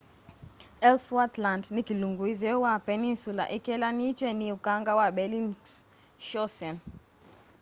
ellsworth land ni kilungu itheo wa peninsula kikelanitw'e ni ukanga wa bellingshausen